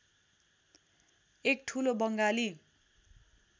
एक ठूलो बङ्गाली